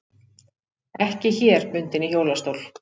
Ekki hér bundin í hjólastól.